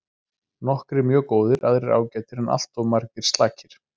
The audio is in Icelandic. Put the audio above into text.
Nokkrir mjög góðir aðrir ágætir en alltof margir slakir.